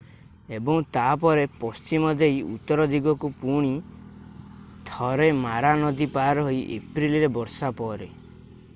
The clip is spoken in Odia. ଏବଂ ତା'ପରେ ପଶ୍ଚିମ ଦେଇ ଉତ୍ତର ଦିଗକୁ ପୁଣି ଥରେ ମାରା ନଦୀ ପାର ହୋଇ ଏପ୍ରିଲରେ ବର୍ଷା ପରେ